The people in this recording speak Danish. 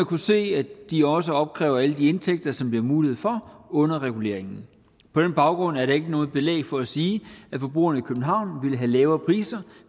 kunne se at de også opkræver alle de indtægter som der er mulighed for under reguleringen på den baggrund er der ikke noget belæg for at sige at forbrugerne i københavn ville have lavere priser